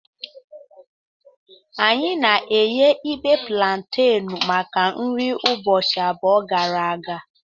Anyị na-eghe ibe plantenu maka nri ụbọchị abụọ gara aga.